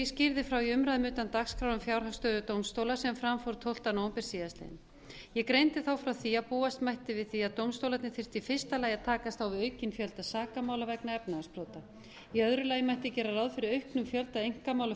frá í umræðu utan dagskrár um fjárhagsstöðu dómstóla sem fram fór tólfti nóvember síðastliðinn ég greindi þá frá því að búast mætti við að dómstólarnir þyrftu í fyrsta lagi að takast á við aukinn fjölda sakamála vegna efnahagsbrota í öðru lagi mætti gera ráð fyrir auknum fjölda einkamála